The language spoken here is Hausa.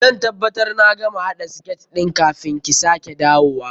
Zan tabbabtar na gama haɗa siket ɗin kafin ki sake dawowa.